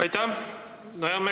Aitäh!